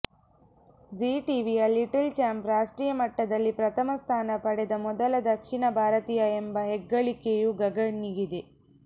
Zee ಟಿವಿಯ little champ ರಾಷ್ಟ್ರೀಯ ಮಟ್ಟದಲ್ಲಿ ಪ್ರಥಮ ಸ್ಥಾನ ಪಡೆದ ಮೊದಲ ದಕ್ಷಿಣ ಭಾರತೀಯ ಎಂಬ ಹೆಗ್ಗಳಿಕೆಯೂ ಗಗನ್ಗಿದೆ